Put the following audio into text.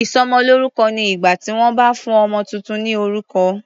Ìsọmọlórúkọ ni ìgbà tí wọ́n bá fún ọmọ tuntun ní orúkọ.